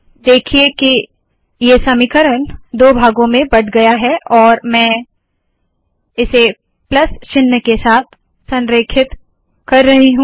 देखिए के यह समीकरण दो भागो में बट गया है और मैं इसे प्लस चिन्ह के साथ संरेखित कर रही हूँ